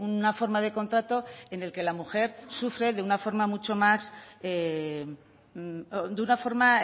una forma de contrato en el que la mujer sufre de una forma mucho más de una forma